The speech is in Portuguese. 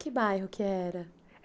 Que bairro que era?